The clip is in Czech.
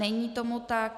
Není tomu tak.